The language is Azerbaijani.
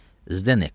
Zdek.